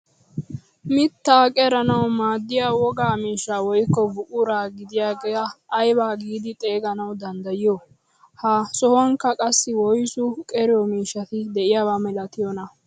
Mittaa qeranawu maaddiyaa wogaa miishsha woykko buquraa gidiyaaga ayba giidi xeeganwu danddayiyoo? Ha sohuwankka qassi woyssu qeriyoo mishshati de'iyaaba milatiyoonaa?